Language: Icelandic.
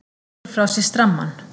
Leggur frá sér strammann.